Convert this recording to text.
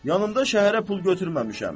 Yanımda şəhərə pul götürməmişəm.